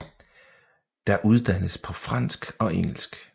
Der uddannes på fransk og engelsk